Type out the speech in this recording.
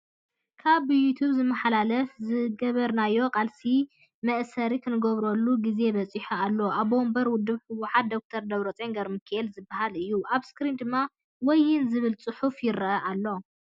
ካብ ብዩቱፕ ዝመሓላለፍ ዝገበርናዮ ቃልሲ መእሰሪ እንገብረሉ ግዜ በፂሑ ኣሎ"ኣቦወንበር ውድብ ህውሓት ደ/ር ደብረፅዮን ገብረሚካኤል "ዝብል እዩ። ኣብ ስክሪን ድማ ወይን ዝብል ፅሑፍ ይረኣ ኣሎ።